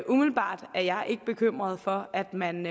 umiddelbart er jeg ikke bekymret for at man